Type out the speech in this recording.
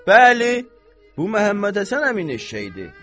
Bəli, bu Məhəmmədhəsən əminin eşşəyidir.